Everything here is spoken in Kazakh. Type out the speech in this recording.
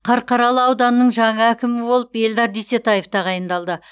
қарқаралы ауданының жаңа әкімі болып эльдар дүйсетаев тағайындалды